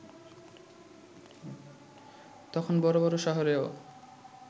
তখন বড় বড় শহরেও